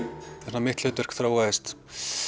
mitt hlutverk þróaðist